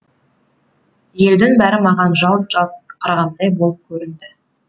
елдің бәрі маған жалт жалт қарағандай болып көрінді